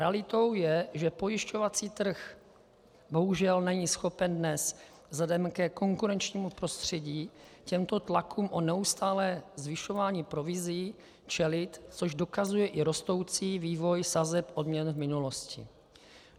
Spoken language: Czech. Realitou je, že pojišťovací trh bohužel není schopen dnes vzhledem ke konkurenčnímu prostředí těmto tlakům o neustálé zvyšování provizí čelit, což dokazuje i rostoucí vývoj sazeb odměn v minulosti.